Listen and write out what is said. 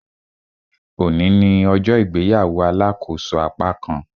Òní ní ọjọ́ ìgbéyàwó alàkóso apákan